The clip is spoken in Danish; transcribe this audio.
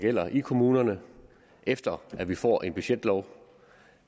gælder i kommunerne efter at vi får en budgetlov